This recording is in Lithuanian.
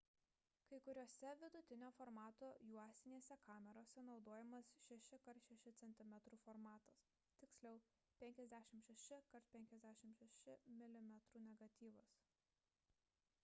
kai kuriose vidutinio formato juostinėse kamerose naudojamas 6 x 6 cm formatas tiksliau – 56 x 56 mm negatyvas